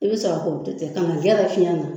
I bɛ sɔrɔ k'o tɛntɛn ka na fiyɛn na